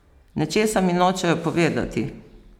Nečesa mi nočejo povedati!